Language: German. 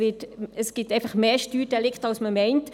Es gibt mehr Steuerdelikte, als man meint.